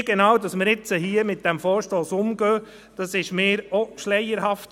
Wie genau wir hier mit diesem Vorstoss umgehen, ist auch mir schleierhaft.